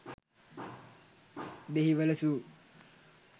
dehiwala zoo